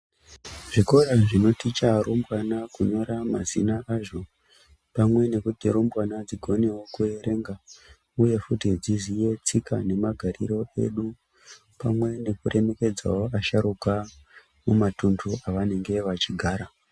Zvikora zvinoticha arumbwana kunyora mazina azvo pamwe nekuti rumbwana dzikone kuerenga uye futi dziziye tsika nemagariro edu. Pamwe nekuremekedzawo asharuka mumatunhu avanenge vachigara.